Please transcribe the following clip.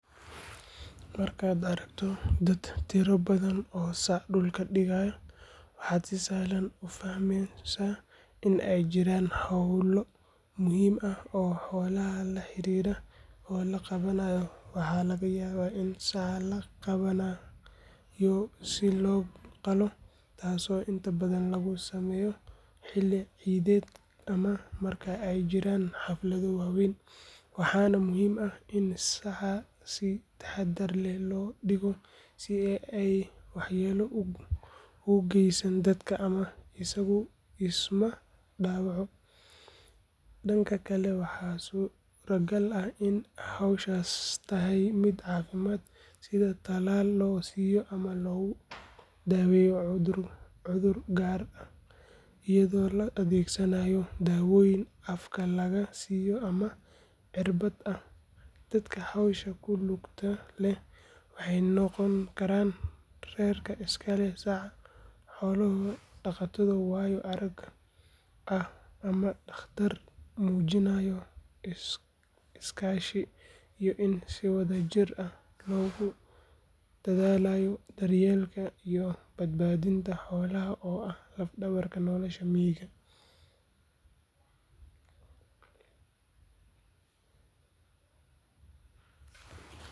Gowraca lo’da waa dhaqan iyo waajibaad diinimo oo muhiim u ah bulshooyin badan gaar ahaan dadka Muslimiinta ah. Waxaa si gaar ah loo sameeyaa inta lagu jiro ciidda Eid al-Adha, taasoo ah xilli dadka Muslimiinta ah ay xasuustaan sheekada Nabi Ibraahim iyo siduu u diyaar u ahaa inuu Allaah dartiis u allabariyo wiilkiisa. Marka la gowracayo lo’da, waxaa jira shuruudo diini ah oo lagu saleeyo sida in xoolaha ay yihiin kuwo caafimaad qaba, da’doodu buuxday oo aan lahayn cilado muuqda. Inta badan lo’da la gowraco waxay da’doodu gaartaa ugu yaraan labo sano. Xoolaha waxaa la jeexaa iyadoo lagu bilaabayo magaca Ilaahay, waxaana la adeegsadaa mindi fiiqan si aanay xanuun badan ugu dareemin. Marka la dhammeeyo gowraca, hilibka waxaa loo qeybiyaa saddex qaybood: mid qofka gowracay uu qaato, mid la siiyo qaraabada, iyo mid la sadaqeeyo si dadka baahan ay uga faa’iideystaan. Hilibka lo’da waa cunto qiimo badan leh.